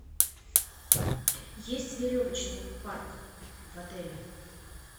есть веревочный парк в отеле